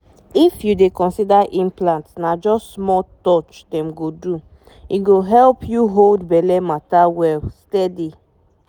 if you dey consider implant na just small touch dem go do — e go help you hold belle matter well steady.